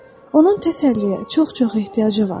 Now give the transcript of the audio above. Onun təsəlliyə çox-çox ehtiyacı var.